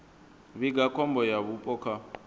vhiga khombo ya vhupo kha